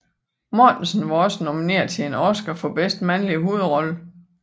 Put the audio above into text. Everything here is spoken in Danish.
Mortensen var også nomineret til en Oscar for bedste mandlige hovedrolle